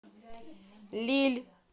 лилль